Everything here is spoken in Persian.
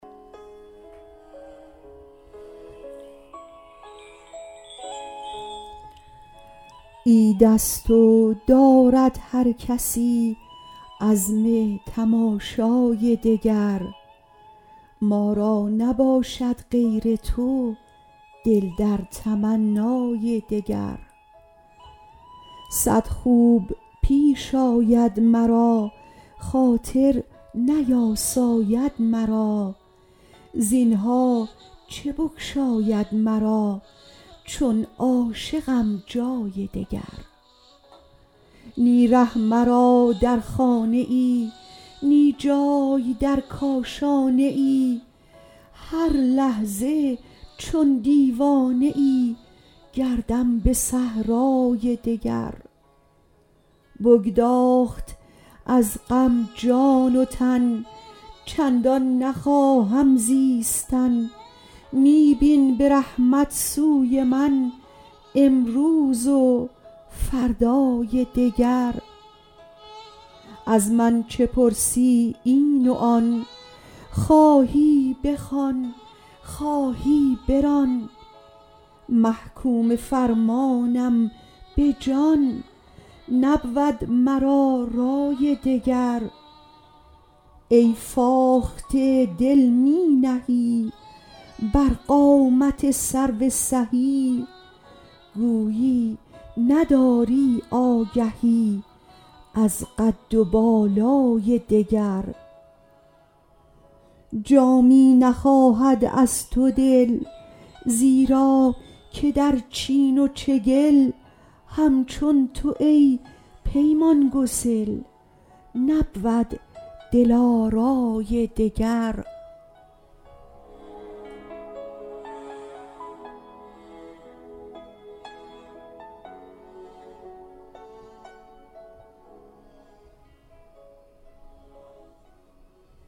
عید است و دارد هر کسی عزم تماشای دگر ما را نباشد غیر تو دل در تمنای دگر صد خوب پیش آید مرا خاطر نیاساید مرا زینها چه بگشاید مرا چون عاشقم جای دگر نی ره مرا در خانه ای نی جای در کاشانه ای هر لحظه چون دیوانه ای گردم به صحرای دگر بگداخت از غم جان و تن چندان نخواهم زیستن می بین به رحمت سوی من امروز و فردای دگر از من چه پرسی این و آن خواهی بخوان خواهی بران محکوم فرمانم به جان نبود مرا رای دگر ای فاخته دل می نهی بر قامت سرو سهی گویی نداری آگهی از قد و بالای دگر جامی نخواهد از تو دل زیرا که در چین و چگل همچون تو ای پیمان گسل نبود دلارای دگر